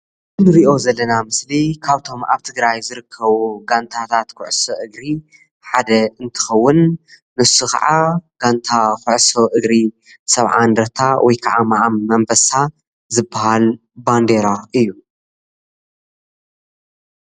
ንሪኦ ዘለና ምስሊ ካብቶም ኣብ ትግራይ ዝርከቡ ጋንታታት ኩዕሶ እግሪ ሓደ እንትከዉን ንሱ ከዓ ጋንታ ኩዕሶ እግሪ ሰብዓ እንደርታ ወይ ከዓ ምዓም ኣንበሳ ዝበሃል ባንዴራ እዩ ።